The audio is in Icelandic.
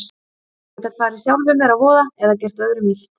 Ég gat farið sjálfum mér að voða eða gert öðrum illt.